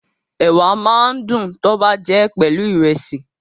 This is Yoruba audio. Ẹ̀wà máa ń dùn tọ́ bá jẹ́ pelu Ìrẹ́sì